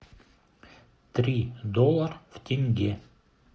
три доллара в тенге